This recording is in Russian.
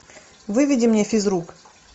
выведи мне физрук